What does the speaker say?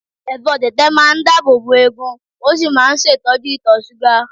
Ẹ̀fọ́ tẹ̀tẹ̀ máa ń dáàbòbo eegun ó sì máa ń ṣètọ́jú ìtọ-ṣúgà.